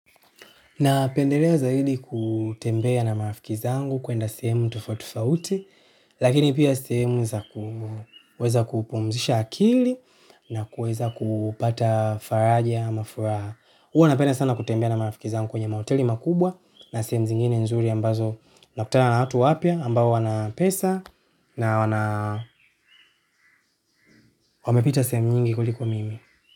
Na pendelea zaidi kutembea na marafiki zangu kwenda sehemu tofauti tofauti lakini pia sehemu za kuweza kupumzisha akili nakuweza kupata faraja ama furaha huwa napenda sana kutembea na marafiki zangu kwenye mahoteli makubwa na sehemu zingine nzuri ambazo nakutana na watu wapya ambao wana pesa na wana wamepita sehemu nyingi kuliko mimi.